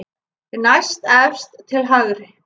Næstefst til hægri.